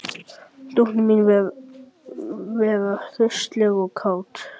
Dóttir mín virðist vera hraustleg og kát